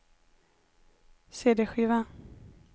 cd-skiva